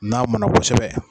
N'a mɔnna kosɛbɛ.